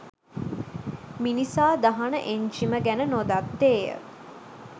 මිනිසා දහන එන්ජිම ගැන නොදත්තේය.